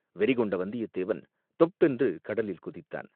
வெறி கொண்ட வந்தியத்தேவன் தொப்பென்று கடலில் குதித்தான்.